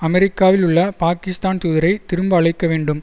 அமெரிக்காவிலுள்ள பாக்கிஸ்தான் தூதரை திரும்ப அழைக்க வேண்டும்